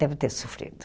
Deve ter sofrido.